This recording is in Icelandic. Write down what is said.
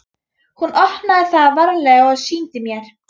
Hún opnaði það varlega og sýndi mér.